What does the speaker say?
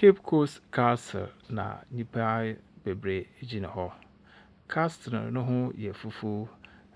Cape Coast Castle, na nnipa bebree gyina hɔ. Castle no ho yɛ fufuo,